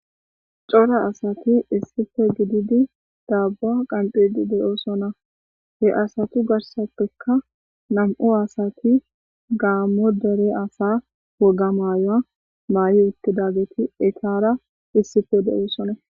Cora asati issife gididi daabuwa qanxidi de7oosona he asatu garsappeka nam7u asati gaammo dere asa woga maayoa maayi uttidageti etaara issife de7oosonna.